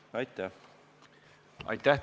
Aitäh!